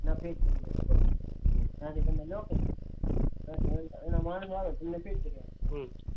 એને ફીટ કરી છે અનો માનસ આવે ને ફીટ કરી આપે.